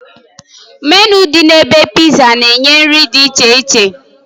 Menịu dị na ebe Pizza na-enye nri dị iche iche